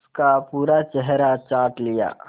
उसका पूरा चेहरा चाट लिया